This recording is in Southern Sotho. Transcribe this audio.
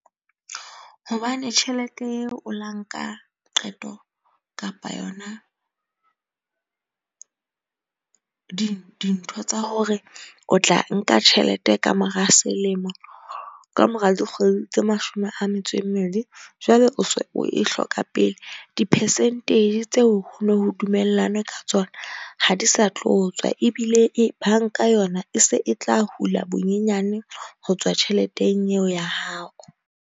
Hobane tjhelete eo o llang ka qeto kapa yona dintho tsa hore o tla nka tjhelete ka mora selemo. Ka mora dikgwedi tse mashome a metso e mmedi, jwale o so o e hloka pele. Di-percentage tseo ho no ho dumellane ka tsona ha di sa tlo tswa. Ebile e banka yona e se e tla hula bonyenyane ho tswa tjheleteng eo ya hao.